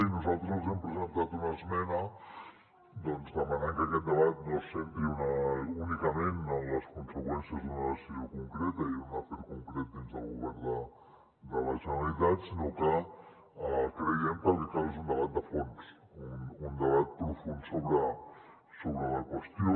i nosaltres hem presentat una esmena demanant que aquest debat no se centri únicament en les conseqüències d’una decisió concreta i un afer concret dins del govern de la generalitat sinó que creiem que el que cal és un debat de fons un debat profund sobre la qüestió